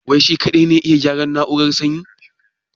Wai shi kaɗai ne ya iya gyaran na'urar sanyin?